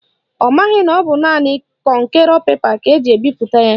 Ọ maghị na ọ bụ naanị kọnkerọ pepa ka eji ebipụta ya.